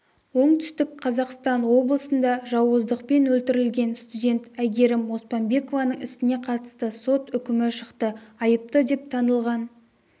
оңтүстік қазақстан облысында жауыздықпен өлтірілген студент әйгерім оспанбекованың ісіне қатысты сот үкімі шықты айыпты деп танылған